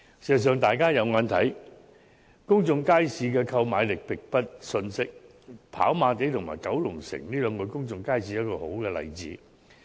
事實上，大家都看到，公眾街市的購買力並不遜色，跑馬地和九龍城的公眾街市就是很好的例子。